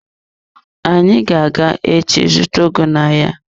Anyị ga-aga echi zụta ugu n'ahịa.